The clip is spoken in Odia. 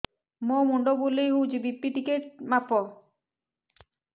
ମୋ ମୁଣ୍ଡ ବୁଲେଇ ହଉଚି ବି.ପି ଟିକେ ମାପ